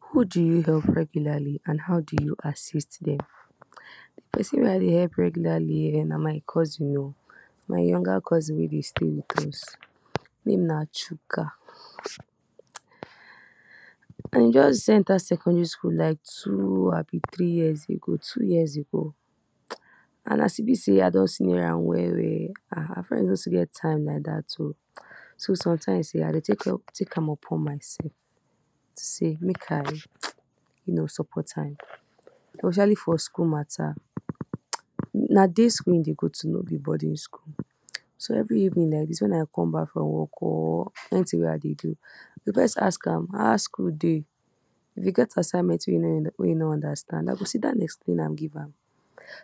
Who do you help regularly and how do you assist dem? di person I dey help regularly na my cousin oh my younger cousin wey dey stay with us name na Chika. just enter secondary school like two abi three years ago- two years ago, and as e be so, I don senior am well well no too get time like dat oh so sometimes um I dey take am upon myself to say make I you know support am especially for school matas. na day school he dey go too; no be boarding school so every even like dis wen I come back from work or some kind tings wey I dey do, I go first ask am how school dey if e get assignment wey e no understand, I go sit down explain give am.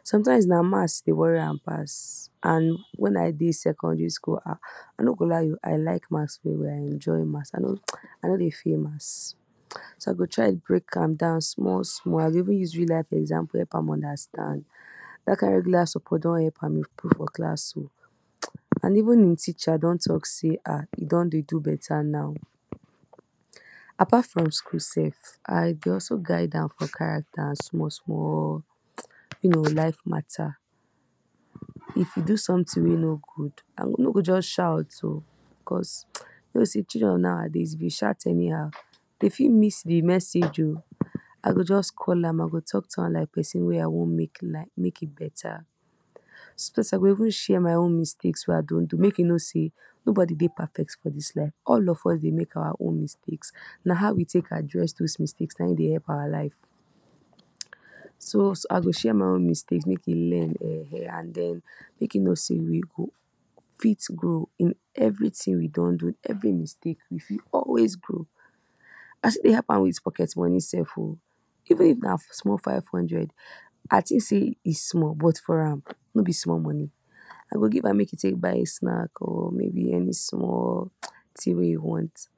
sometimes na maths dey worry am pass and wen I dey secondary school I no go lie you I like maths well well. I enjoy maths I no dey fail maths so I dey try break am down small small. I go even use real life example help am understand. dat kind support don help am improve for class oh and even im teacher don talk say ah he don dey do beta now apart from school sef I dey also guide am for character and small small you know life mata if e do someting wey no good, i go you no go just shout oh because you know say children of nowadays if you shout anyhow dey fit miss de message oh. I go just call am I go talk to am like person wey I want make in beta so I go even share my own mistakes wey I don do make he know say nobody dey perfect for dis life oh. all of us dey make our own mistakes na how we take address those mistakes na im dey help our life so I go share my own mistakes make im learn um and make im no sey you fit grow in everyting you don do every mistake you got always grow. I still dey help am with pocket money sef oh even if na small 500 I see sey e small but for am no be small. i go give am make e take Buy snack oh. maybe any small ting wey he want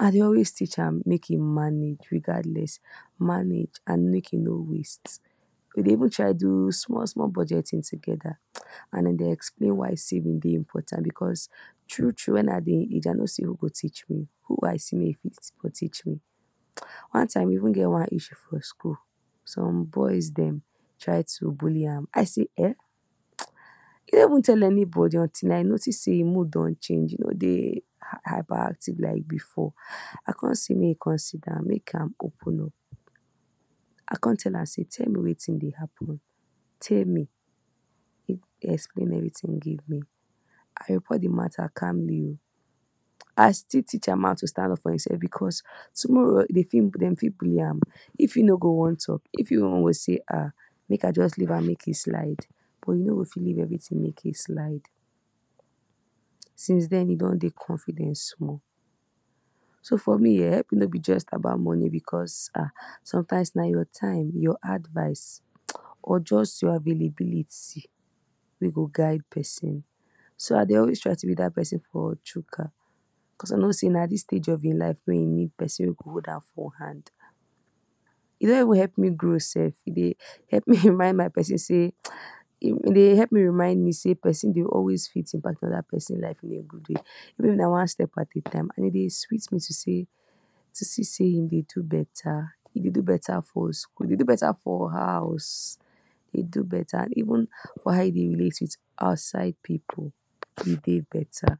I dey always teach am make he manage regardless manage and make he no waste we dey even try do small small budgeting together and I dey explain why saving dey important because true true wen I dey age i no see who go teach me on time. we even get issue for school some boys dem try to bully am I sey um e no even tell anybody until I notice sey im mood don change um, he no dey hyperactive like before I come say make he come sit down make am open up. I come tell am say tell me wetin dey happen, tell me he explained every ting I respond de mata calmly oh I still teach am how to stand up for imself because tomorrow dem fit bully am. if he no go want talk e fit even feel say make I just leave am make he slide but you no go fit leave everyting make e slide since den he don dey confidence small. so helping no be just about money sometimes na your time your advice or just your availability wey go guide person. so I dey always try to be dat person for chuka cause I know say na dis stage if im life wey he needs person to hold hand he don even help me grow sef e dey remind me sey person e dey help me remind me say person dey always fit in particular person life in a good way even if na one step at a time, e dey sweet me to see sey e dey do beta e dey do beta for school e dey do beta for house even how e relate for outside pipu e dey do beta.